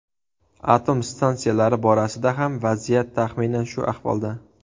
Atom stansiyalari borasida ham vaziyat taxminan shu ahvolda.